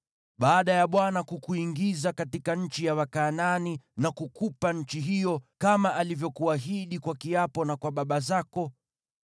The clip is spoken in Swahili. “Baada ya Bwana kukuingiza katika nchi ya Wakanaani na kukupa nchi hiyo, kama alivyokuahidi kwa kiapo na kwa baba zako,